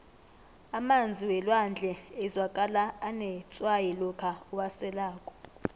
emanzi welwandle azwakala anetswayi lokha uwaselako